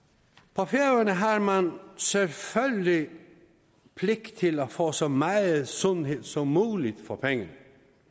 på færøerne har man selvfølgelig pligt til at få så meget sundhed som muligt for pengene